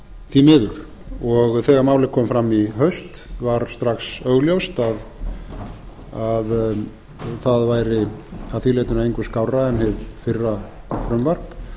því miður og þegar málið kom fram í haust var strax augljóst að það væri að því leytinu engu skárra en hið fyrra frumvarp